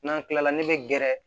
N'an tilala ne bɛ gɛrɛ